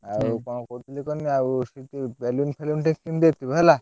ଆଉ କଣ କହୁଥିଲି କୁହନୀ ସେଠି balloon ଫେଲୁନ୍ ସବୁ କିଣି ଦେଇଥିବ ହେଲା।